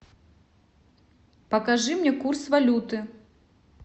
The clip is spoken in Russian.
покажи мне курс валюты